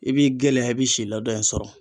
I b'i gɛlɛya i bi si ladɔn in sɔrɔ.